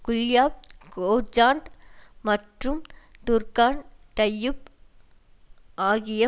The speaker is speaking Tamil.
குல்யாப் கோஜாண்ட் மற்றும் டுர்கான் டையூப் ஆகிய